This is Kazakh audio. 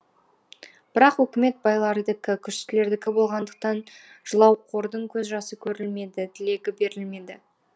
бірақ өкімет байлардікі күштілердікі болғандықтан жылауқордың көз жасы көрілмеді тілегі берілмеді